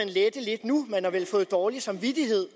lette lidt nu man har vel fået dårlig samvittighed